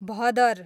भदर